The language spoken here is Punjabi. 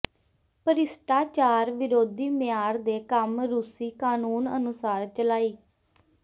ਭ੍ਰਿਸ਼ਟਾਚਾਰ ਵਿਰੋਧੀ ਮਿਆਰ ਦੇ ਕੰਮ ਰੂਸੀ ਕਾਨੂੰਨ ਅਨੁਸਾਰ ਚਲਾਈ